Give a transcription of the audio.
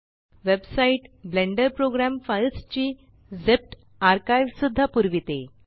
website Blender program files ची zipped archive सुद्धा पुरविते